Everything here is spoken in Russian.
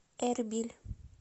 эрбиль